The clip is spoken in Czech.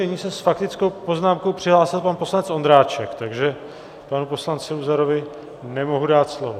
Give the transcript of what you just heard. Nyní se s faktickou poznámkou přihlásil pan poslanec Ondráček, takže panu poslanci Luzarovi nemohu dát slovo.